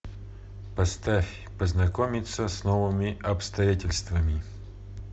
поставь познакомиться с новыми обстоятельствами